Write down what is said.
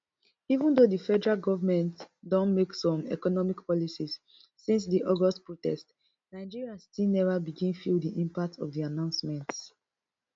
even though di federal govment don make some economic policies since di august protest nigerians still never begin feel di impact of the announcements